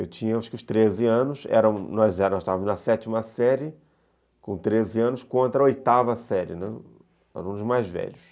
Eu tinha acho que uns treze anos, nós estávamos, na sétima série, com treze anos, contra a oitava série, né, alunos mais velhos.